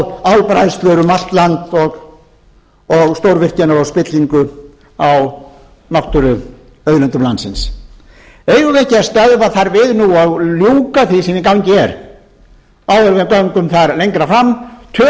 á álbræðslur um allt land og stórvirkjanir og spillingu á náttúruauðlindum landsins eigum við ekki að stöðva þær nú og ljúka því sem í gangi er áður en við göngum þar lengra fram tökum þá